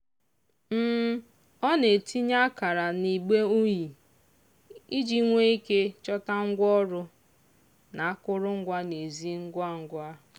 ọ na-etinye akara n'igbe unyi iji nwee ike chọta ngwaọrụ na akụrụngwa n'ezi ngwa ngwa.